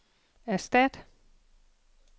erstat